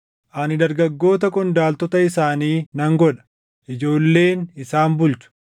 “Ani dargaggoota qondaaltota isaanii nan godha; ijoolleen isaan bulchu.”